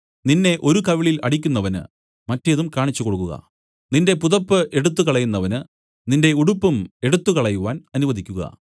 നിന്നെ ഒരു കവിളിൽ അടിക്കുന്നവന് മറ്റേതും കാണിച്ചു കൊടുക്കുക നിന്റെ പുതപ്പ് എടുത്തുകളയുന്നവന് നിന്റെ ഉടുപ്പും എടുത്തുകളയുവാൻ അനുവദിക്കുക